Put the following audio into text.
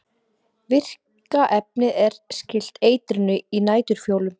Virka efnið er skylt eitrinu í næturfjólum.